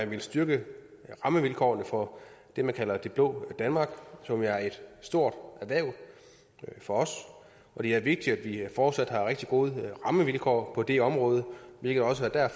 vil styrke rammevilkårene for det man kalder det blå danmark som er et stort erhverv for os og det er vigtigt at vi fortsat har rigtig gode rammevilkår på det område hvilket også er